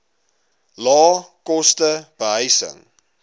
lae koste behuising